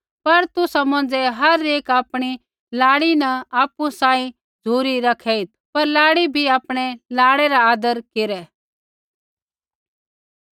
पर तुसा मौंझ़ै हर एक आपणी लाड़ी न आपु बराबर झ़ुरी रखेइत पर लाड़ी भी आपणै लाड़ै रा आदर केरै